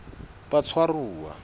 batshwaruwa